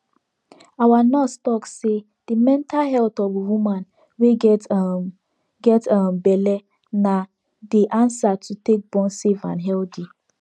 our nurse talk say the mental health of woman wey get um get um belle na de answer to take born safe and healthy